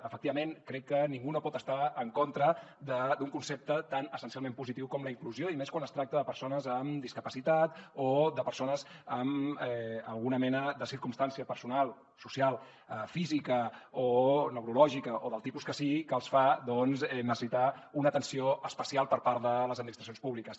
efectivament crec que ningú no pot estar en contra d’un concepte tan essencialment positiu com la inclusió i més quan es tracta de persones amb discapacitat o de persones amb alguna mena de circumstància personal social física o neurològica o del tipus que sigui que els fa doncs necessitar una atenció especial per part de les administracions públiques